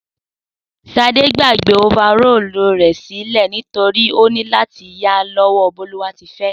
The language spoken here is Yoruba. Sadé gbàgbé ofarọ́ọ̀lu rè sílé nitorinà ọ ní láti yá lọ́wọ́o Bólúwatifẹ́